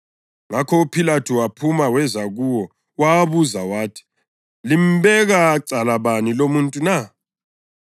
Ngakho uPhilathu waphuma weza kuwo wawabuza wathi, “Limbeka cala bani lumuntu na?”